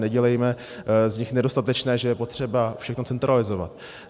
Nedělejme z nich nedostatečné, že je potřeba všechno centralizovat.